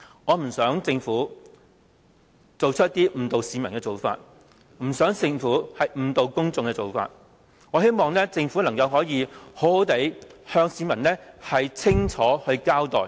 我希望政府不要做出一些誤導市民的事情，也希望政府能夠向市民清楚交代。